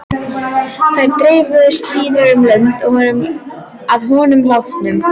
Þær dreifðust víða um lönd að honum látnum.